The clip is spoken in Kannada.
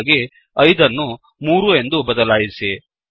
ಹಾಗಾಗಿ 5 ಅನ್ನು 3 ಎಂದು ಬದಲಾಯಿಸಿ